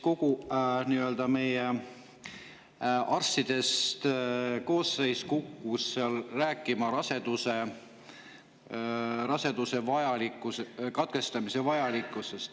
Kogu meie arstidest koosseis kukkus seal rääkima raseduse katkestamise vajalikkusest.